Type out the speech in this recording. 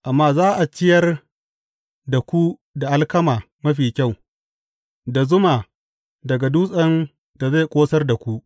Amma za a ciyar da ku da alkama mafi kyau; da zuma daga dutsen da zai ƙosar da ku.